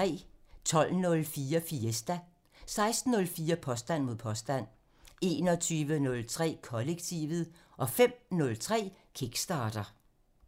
12:04: Fiesta (Afs. 52) 16:04: Påstand mod påstand (Afs. 165) 21:03: Kollektivet (Afs. 35) 05:03: Kickstarter (Afs. 45)